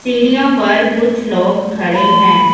सीढ़ियों पर कुछ लोग खड़े हैं।